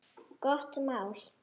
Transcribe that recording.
Gott mál.